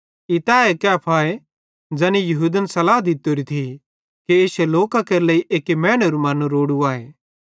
ई तैए कैफाए ज़ैनी यहूदन सलाह दित्तोरी थी कि इश्शे लोकां केरे लेइ एक्की मैनेरू मरनू रोड़ू आए